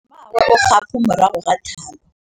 Mmagwe o kgapô morago ga tlhalô.